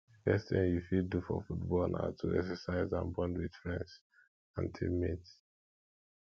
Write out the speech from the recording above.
di best thing you fit do for football na to exercise and bond with friends and teammates